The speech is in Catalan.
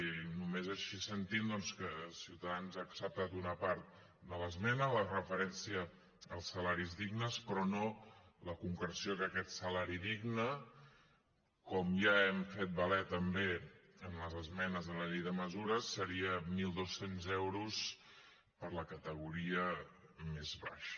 i només així s’entén doncs que ciutadans hagi acceptat una part de l’esmena la referència als salaris dignes però no la concreció que aquest salari digne com ja hem fet valer també en les esmenes de la llei de mesures seria mil dos cents euros per a la categoria més baixa